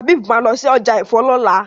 Habib má lọ sí ọjà èfó lola.